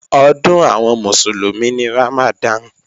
Ọdún àwọn Mùsùlùmí ni Ramadan